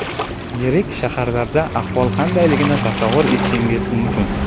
Yirik shaharlarda ahvol qandayligini tasavvur etishingiz mumkin.